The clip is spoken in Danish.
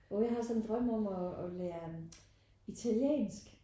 Åh jeg har sådan en drøm om at at lære italiensk